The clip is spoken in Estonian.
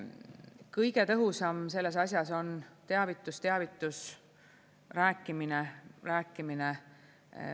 Kõige tõhusam selles asjas on teavitus, teavitus, rääkimine, rääkimine.